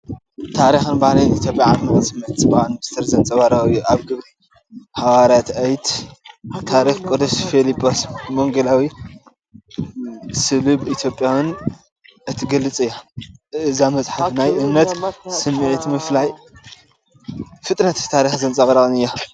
ታሪኽን ባህልን ኢትዮጵያ ዓሚቕ ስምዒት ጽባቐን ምስጢርን ዘንጸባርቕ እዩ። ኣብ ግብሪ ሃዋርያት 8 ታሪኽ ቅዱስ ፊልጶስ ወንጌላዊን ስሉብ ኢትዮጵያን (ባኮስ) እትገልጽ እያ። እዛ መጽሓፍ ናይ እምነት ስምዒት፡ ምድላይ ፍልጠትን ታሪኽን ዘንጸባርቕ እያ።